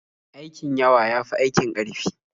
Aikin yawa ya fi aikin ƙarfi.